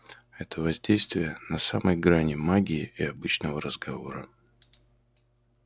это воздействие на самой грани магии и обычного разговора